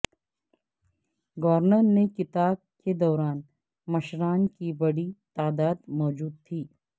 governor کے خطاب کے دوران مشران کی بڑی تعداد موجود تھی